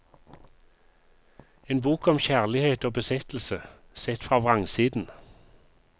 En bok om kjærlighet og besettelse, sett fra vrangsiden.